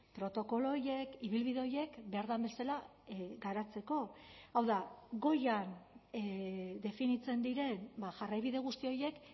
protokolo horiek ibilbide horiek behar den bezala garatzeko hau da goian definitzen diren jarraibide guzti horiek